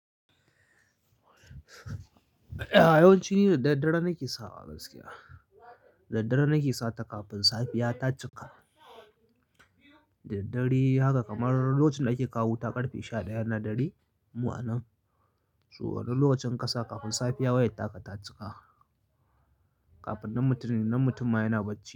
Yawanci da daddare nake sawa gaskiya. Da daddare nake sata kafin safiya ta cika. Daddare haka kamar lokacin da ake kawo wuta karfe sha ɗaya na dare. Mu anan. So wannan lokacin kn kasa kafin safiya wayar taka ta cika. Kafin nan mutum, nan mutum ma yana bacci.